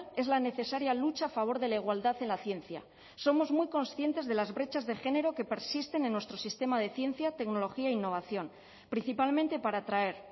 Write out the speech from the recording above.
es la necesaria lucha a favor de la igualdad en la ciencia somos muy conscientes de las brechas de género que persisten en nuestro sistema de ciencia tecnología e innovación principalmente para atraer